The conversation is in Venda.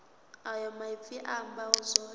ayo maipfi a amba zwone